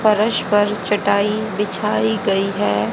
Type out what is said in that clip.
फर्श पर चटाई बिछाई गई है।